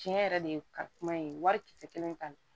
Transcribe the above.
Tiɲɛ yɛrɛ de kalikuma ye wari kisɛ kelen ta